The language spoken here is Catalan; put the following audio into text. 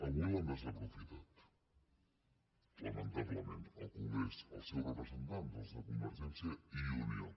avui l’han desaprofitat lamentablement al congrés els seus representants els de convergència i unió